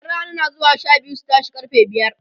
ƴan Rana na zuwa Sha biyu su tashe karfe biyar